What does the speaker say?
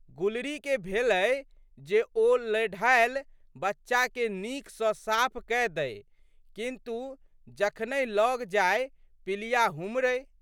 गुलरीके भेलै जे ओ लेढ़ैल बच्चाके नीक सँ साफ कए दइ किन्तु, जखनहि लग जाइ पिलिया हुम्हरै।